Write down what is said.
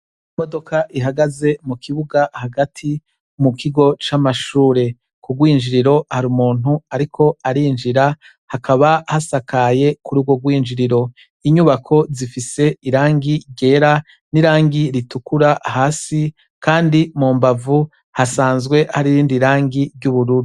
Imodoka ihagaze mu kibuga hagati mu kigo c'amashure ku rw'injiriro hari umuntu ariko arinjira hakaba hasakaye kuri urwo rw'injiriro, inyubako zifise irangi ryera n'irangi ritukura hasi kandi mu mbavu hasanzwe hari irindi rangi ry'ubururu.